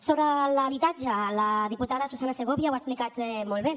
sobre l’habitatge la diputada susanna segovia ho ha explicat molt bé